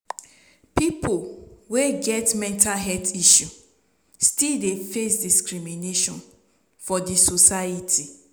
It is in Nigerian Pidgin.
pipo wey get mental health issue still dey face discrimination for di society